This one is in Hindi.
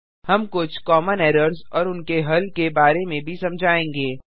हम कुछ कॉमन एरर्स और उनके हल के बारे में भी समझायेंगे